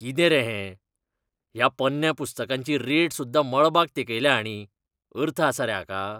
कितें रे हें? ह्या पोन्न्या पुस्तकांची रेट सुद्दां मळबाक तेंकयल्या हाणीं, अर्थ आसा रे हाका?